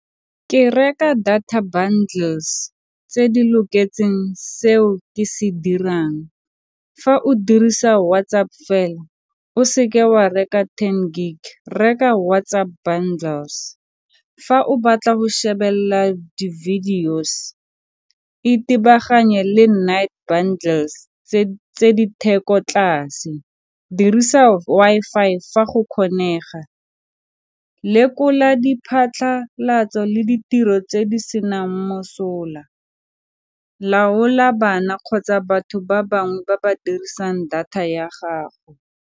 Ke reka data bundles tse di loketseng seo ke se dirang. Fa o dirisa WhatsApp fela o se ke wa reka ten gig reka WhatsApp bundles. Fa o batla go shebelela di-videos itebaganye le night bundles tse di theko tlase, dirisa Wi-Fi fa go kgonega, lekola diphatlhalatso le ditiro tse di senang mosola laola bana kgotsa batho ba bangwe ba ba dirisang data ya gago.